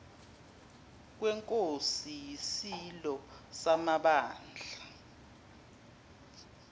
kwenkosi yisilo samabandla